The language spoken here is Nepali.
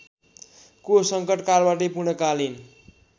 को संकटकालबाटै पूर्णकालीन